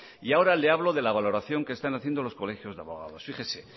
y ahora le hablo de la valoración que están haciendo los colegios de abogados fíjese